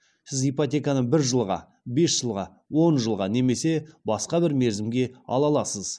сіз ипотеканы бір жылға бес жылға он жылға немесе басқа бір мерзімге ала аласыз